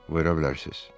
Verə bilərsiniz?